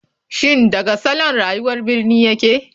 Shin daga salon rayuwar birni yake?